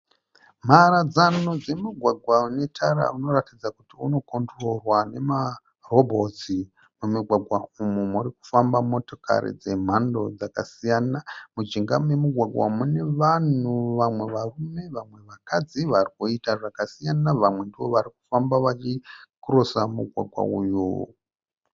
Mharadza dzemugwagwa unetara unoratidza kuti unokondiroriwa nemarobhotsi, mumugwagwa umu murikufamba motokari dzemhando dzakasiyana, mujinga memugwagwa umu mune vanhu vamwe varume vamwe vakadzi varikuita zvakasiyana, vamwe ndovarikufamba vachikirosa mugwagwa uyu.